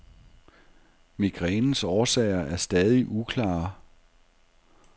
Migrænens årsager er stadig uklare.